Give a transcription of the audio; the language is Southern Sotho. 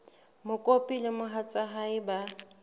mokopi le mohatsa hae ba